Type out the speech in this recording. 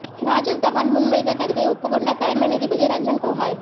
ராஜீவ் தவான் முன்வைத்த கருத்தை ஒப்புக் கொண்டார் தலைமை நீதிபதி ரஞ்சன் கோகாய்